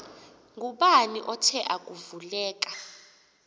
ngubani othe akuvuleka